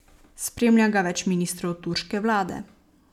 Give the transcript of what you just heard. Spremlja ga več ministrov turške vlade.